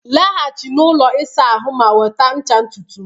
laghachi na ụlọ ịsa ahụ ma nweta ncha ntutu m